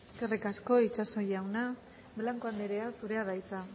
eskerrik asko itxaso jauna blanco andrea zurea da hitza